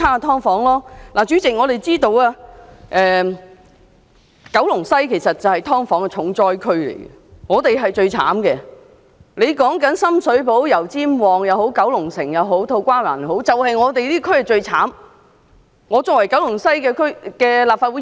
代理主席，九龍西區其實是"劏房"重災區，無論是深水埗、油尖旺、九龍城還是土瓜灣，"劏房"問題都比其他地區嚴重。